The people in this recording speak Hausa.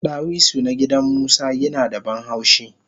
Dawisu na gidan musa yinada banhaushi